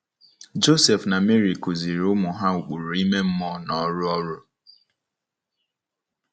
Josef na Meri kụziiri ụmụ ha ụkpụrụ ime mmụọ na ọrụ ọrụ.